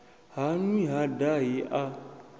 ha nwi ha dahi a